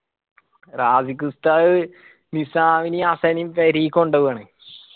റാസിഖ് ഉസ്താദ് നിസ്സാമിനെയു ഹസ്സനെയിം പെരീയ് കൊണ്ട് പോവാണ്